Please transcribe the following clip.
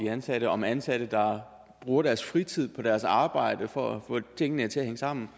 ansatte om ansatte der bruger deres fritid på deres arbejde for at få tingene til at hænge sammen